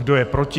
Kdo je proti?